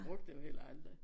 Brugt det jo heller aldrig